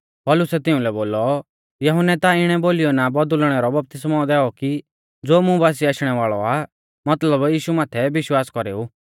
पौलुसै तिउंलै बोलौ यहुन्नै ता इणै बोलीयौ ना बौदुल़णै रौ बपतिस्मौ दैऔ कि ज़ो मुं बासिऐ आशणै वाल़ौ आ मतलब यीशु माथै विश्वास कौरेऊ